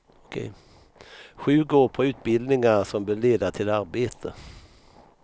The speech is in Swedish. Sju går på utbildningar som bör leda till arbete.